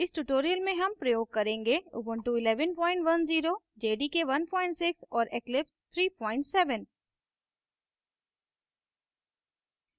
इस tutorial में हम प्रयोग करेंगे